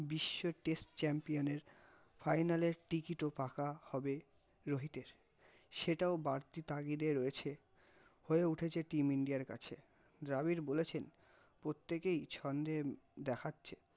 বিশ্ব test champion নে ফাইনালের ticket ও পাকা হবে রোহিতের, সেটাও বাড়তি তাগিতে রয়েছে, হয়ে উঠেছ team ইন্ডিয়ার কাছে, দ্রাবিড় বলেছেন, প্রটতেকেই ছন্দে ম-দেখাচ্ছে